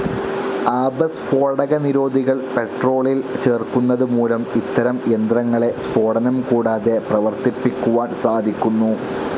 ആപസ്ഫോടകനിരോധികൾ പെട്രോളിൽ ചേർക്കുന്നത് മൂലം ഇത്തരം യന്ത്രങ്ങളെ സ്ഫോടനം കൂടാതെ പ്രവർത്തിപ്പിക്കുവാൻ സാധിക്കുന്നു.